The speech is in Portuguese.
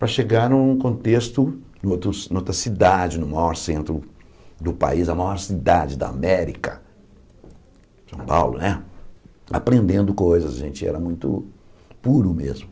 Para chegar num contexto, noutro numa outra cidade, no maior centro do país, a maior cidade da América, São Paulo né, aprendendo coisas, a gente era muito puro mesmo.